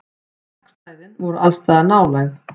Stakkstæðin voru allsstaðar nálæg.